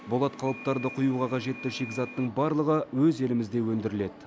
болат қалыптарды құюға қажетті шикізаттың барлығы өз елімізде өндіріледі